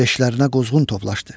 Leşlərinə qozqun toplaşdı.